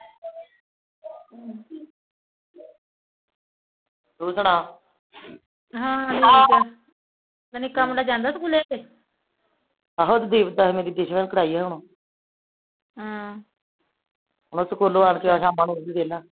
ਤੂ ਸਣਾ ਹਾ ਠੀਕ ਆ ਮੁੰਡਾ ਨੀਕਾ ਜਾਂਦਾ ਸਕੂਲੇ